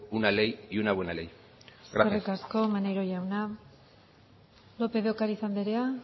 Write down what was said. una ley y una buena ley gracias eskerrik asko maneiro jauna lópez de ocariz andrea